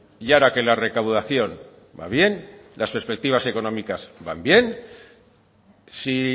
y ahora que la recaudación va bien las perspectivas económicas van bien si